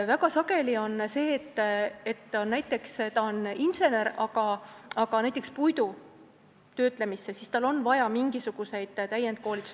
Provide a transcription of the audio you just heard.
Väga sageli on nii, et ta on näiteks insener, aga puidutööstuses töötamiseks on tal vaja mingisugust täienduskoolitust.